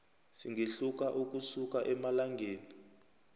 singehluka ukusuka emalangeni